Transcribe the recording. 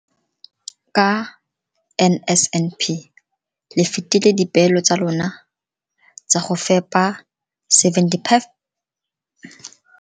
Ka NSNP le fetile dipeelo tsa lona tsa go fepa 75 percent.